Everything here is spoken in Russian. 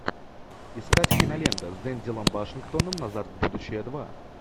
искать кинолента с дензелом вашингтоном назад в будущее два